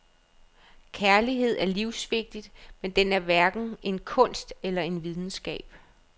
Kærlighed er livsvigtig, men den er hverken en kunst eller en videnskab.